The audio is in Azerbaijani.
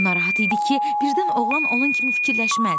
O narahat idi ki, birdən oğlan onun kimi fikirləşməz.